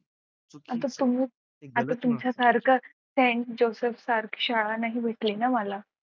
आता तुमच्यासारखं sent joseph सारखी शाळा नाही भेटली ना मला.